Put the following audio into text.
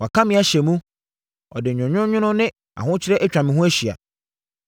Waka me ahyɛ mu, ɔde nwononwono ne ahokyere atwa me ho ahyia.